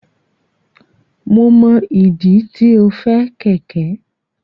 Mo mọ ìdí tí o fẹ kẹkẹ.